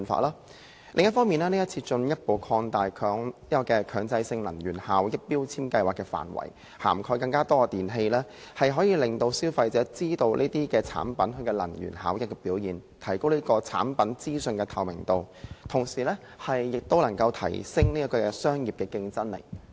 另一方面，今次進一步擴大強制性標籤計劃的範圍，以涵蓋更多電器，可以讓消費者知道這些產品的能源效益表現，提高產品資訊的透明度，同時亦能提升商業的競爭力。